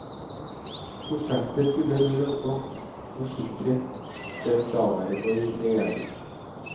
Prosjektet skulle bli lønnsomt, forsikret den daværende regjering.